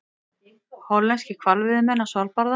Hollenskir hvalveiðimenn á Svalbarða.